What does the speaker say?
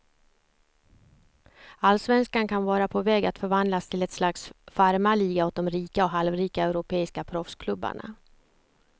Allsvenskan kan vara på väg att förvandlas till ett slags farmarliga åt de rika och halvrika europeiska proffsklubbarna.